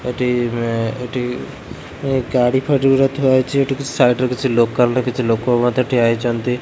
ଏଠି ମେଁ ଏଠି ଏ ଗାଡି ଫାଡି ଗୁରା ଥୁଆ ହେଇଚି ଏଠି କିଛି ସାଇଟ୍ ରେ କିଛି ଲୋକାନ ରେ କିଛି ଲୋକ ମଧ୍ୟ ଠିଆ ହେଇଚନ୍ତି।